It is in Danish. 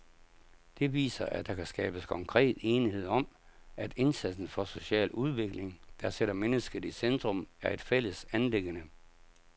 Det viser, at der kan skabes konkret enighed om, at indsatsen for social udvikling, der sætter mennesket i centrum, er et fælles anliggende.